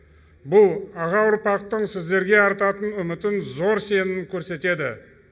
бұл аға ұрпақтың сіздерге артатын үмітін зор сенімін көрсетеді